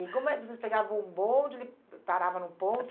E como vocês pegavam o bonde, ele parava no ponto?